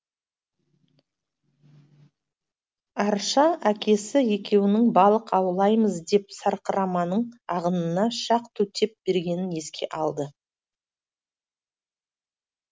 арша әкесі екеуінің балық аулаймыз деп сарқыраманың ағынына шақ төтеп бергенін еске алды